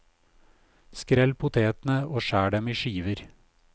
Skrell potetene og skjær dem i skiver.